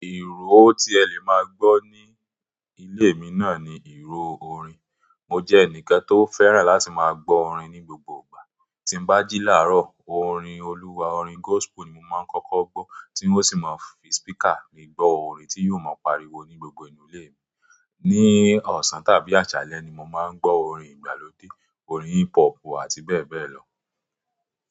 Ìró tí ẹ lè máa gbọ́ ní ilé mi náà ni ìró orin. Mo jẹ́ ẹnìkan tó fẹ́ràn láti máa gbọ orin ní gbogbo ìgbà. Tí n bá jí làárọ̀, orin Olúwa, orin gospel ni mo máa ń kọ́kọ́ gbọ́ tí ó sì máa ń fi speaker mi gbọ́ orin tí yìí ó máa ń pariwo ní gbogbo inú ilé mi. Ni ọ̀sán tàbí àsálé ni mo máa ń gbọ orin ìgbàlódé, orin hip hop àti bẹ́ẹ̀ bẹ́ẹ̀ lọ.